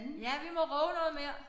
Ja vi må råbe noget mere